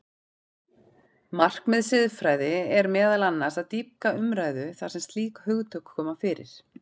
Markmið siðfræði er meðal annars að dýpka umræðu þar sem slík hugtök koma fyrir.